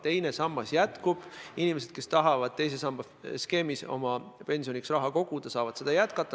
Teine sammas jääb alles, inimesed, kes tahavad teises sambas oma pensioniks raha koguda, saavad seda jätkata.